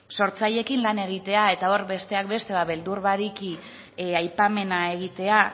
sortzaileekin lana egitea eta hor besteak beste beldur barik i aipamena egitea